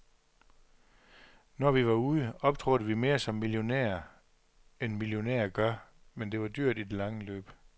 Når vi var ude, optrådte vi mere som millionærer end millionærer gør, men det var dyrt i det lange løb.